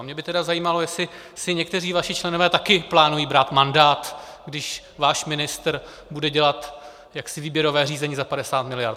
A mě by tedy zajímalo, jestli si někteří vaši členové také plánují brát mandát, když váš ministr bude dělat jaksi výběrové řízení za 50 miliard.